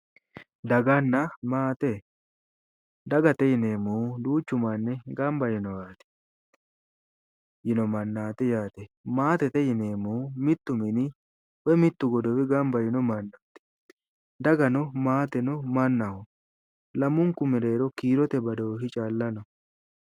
Daganna maate, dagate yinneemmohu duuchu manni gamba yiinno mannati yaate, maatete yinneemmohu mitu mini gamba yiinoho ,dagano maateno mannaho lamunku mereero kiirote badooshi calla no